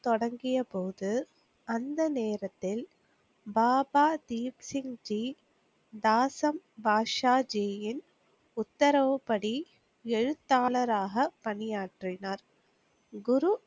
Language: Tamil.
தொடங்கியபோது அந்த நேரத்தில் பாபா தீப்சிங்ஜி, தாசம் பாட்ஷாஜியின் உத்தரவுப்படி எழுத்தாளராக பணியாற்றினார். குரு